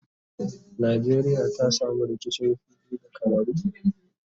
Nqjeriya ta samu rikicin fili da camaru?